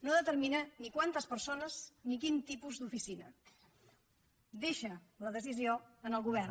no determina ni quantes persones ni quin tipus d’oficina deixa la decisió en el govern